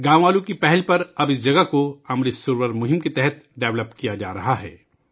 گاؤں والوں کی پہل پر اب اس جگہ کو امرت سروور ابھیان کے تحت فروغ دیا جا رہا ہے